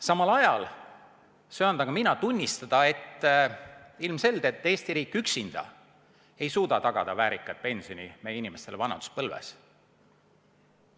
Samal ajal söandan mina tunnistada, et ilmselgelt Eesti riik üksinda ei suuda tagada väärikat pensioni meie inimestele vanaduspõlves.